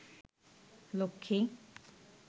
Lakshmi